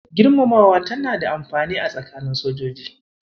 Girmamawa tana da amfani a tsakanin sojoji.